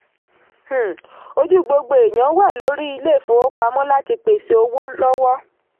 um ojú gbogbo èèyàn wà lórí ilé-ìfowópamọ́ láti pèsè owó lọ́wọ́.